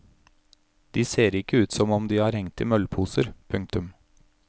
De ser ikke ut som om de har hengt i møllposer. punktum